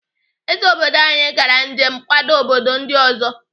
Ezé obodo anyi gara njem nkwado obodo ndị ọzọ.